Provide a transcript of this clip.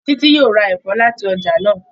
Titi yóò rá èfó láti ọjà náa.